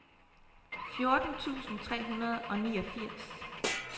fjorten tusind tre hundrede og niogfirs